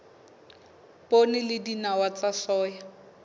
poone le dinawa tsa soya